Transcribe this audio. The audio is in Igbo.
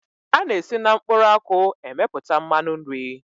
A na-esi na mkpụrụ akwụ emepụta mmanụ nri.